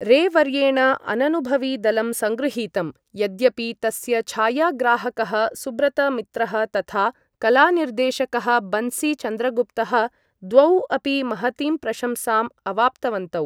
रे वर्येण अननुभवी दलं सङ्गृहीतम्, यद्यपि तस्य छायाग्राहकः सुब्रत मित्रः तथा कलानिर्देशकः बन्सी चन्द्रगुप्तः द्वौ अपि महतीं प्रशंसाम् अवाप्तवन्तौ।